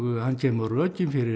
hann kemur með rökin fyrir